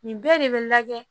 Nin bɛɛ de bɛ lajɛ